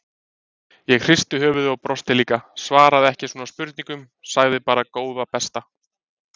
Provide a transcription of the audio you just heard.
Ég hristi höfuðið og brosti líka, svaraði ekki svona spurningum, sagði bara góða besta!